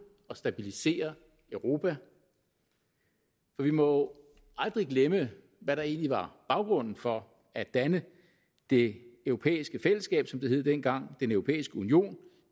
og stabilisere europa vi må aldrig glemme hvad der egentlig var baggrunden for at danne det europæiske fællesskab som det hed dengang den europæiske union